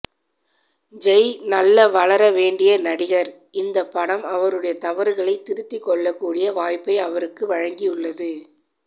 ஜெய் நல்ல வளர வேண்டிய நடிகர் இந்த படம் அவருடைய தவறுகளை திருத்தி கொள்ள கூடிய வாய்ப்பை அவருக்கு வழங்கியுள்ளது